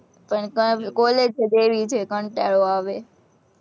પણ college જ એવી છે, કંટાળો આવે